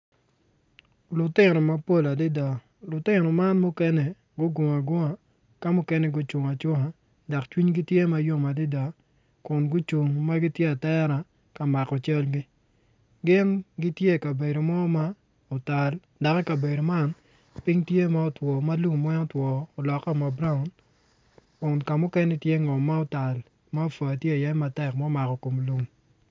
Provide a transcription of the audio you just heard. Lutino mapol adada lutino man mukene gugungo agunga ka mukene gucung acunga dok cwinygi tye ma yom adada kun gucung ma gitye atera ka mako calgi gin gitye ikabedo mo ma otal dok ikabedo man piny tye ma two ma lum weng otwo oloke ma braun kun ka mukene tye ngom ma otal ma apwa tye iye matek ma omako kom lum.